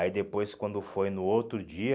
Aí depois, quando foi no outro dia,